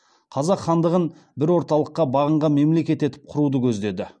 қазақ хандығын бір орталыққа бағынған мемлекет етіп құруды көздеді